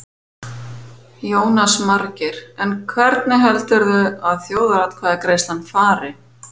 Jónas Margeir: En hvernig heldurðu að þjóðaratkvæðagreiðslan fari?